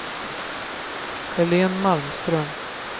Helen Malmström